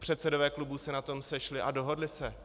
Předsedové klubů se na tom sešli a dohodli se.